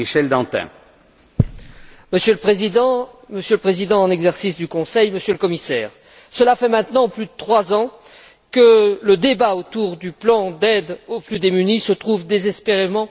Monsieur le Président, Monsieur le Président en exercice du Conseil, Monsieur le Commissaire, cela fait maintenant plus de trois ans que le débat autour du plan d'aide aux plus démunis se trouve désespérément enlisé au Conseil.